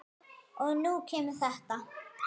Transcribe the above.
Og nú kemur þetta.